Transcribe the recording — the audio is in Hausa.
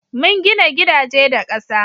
mun gina gidaje da ƙasa